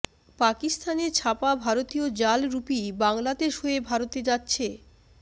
পাকিস্তানে ছাপা ভারতীয় জাল রুপি বাংলাদেশ হয়ে ভারতে যাচ্ছে